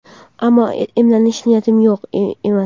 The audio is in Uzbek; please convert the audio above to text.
Ammo emlanish niyati yo‘q emas.